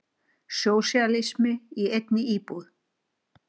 Sósíalismi í einni íbúð.